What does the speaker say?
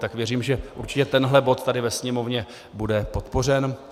Tak věřím, že určitě tenhle bod tady ve Sněmovně bude podpořen.